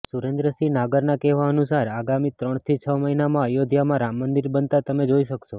સુરેન્દ્રસિંહ નાગરના કહેવા અનુસાર આગામી ત્રણથી છ મહિનામાં અયોધ્યામાં રામમંદિર બનતાં તમે જોઈ શકશો